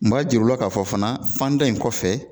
N b'a jir'u la k'a fɔ fana fanda in kɔfɛ